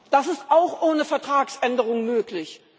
Das ist auch ohne Vertragsänderung möglich.